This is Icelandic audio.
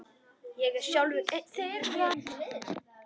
Ég er sjálfur einn þeirra.